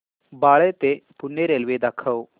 बाळे ते पुणे रेल्वे दाखव